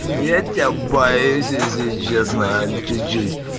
я тебя боюсь если честно чуть-чуть